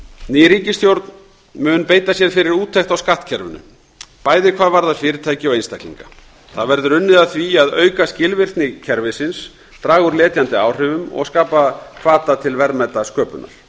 ný ríkisstjórn mun beita sér fyrir úttekt á skattkerfinu bæði hvað varðar fyrirtæki og einstaklinga það verður unnið að því að auka skilvirkni kerfisins draga úr letjandi áhrifum og skapa hvata til verðmætasköpunar